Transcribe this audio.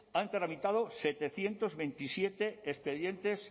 han tramitado setecientos veintisiete expedientes